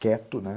Quieto, né?